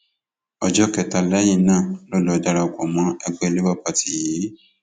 ọjọ kẹta lẹyìn náà ló lọọ darapọ mọ ẹgbẹ labour party yìí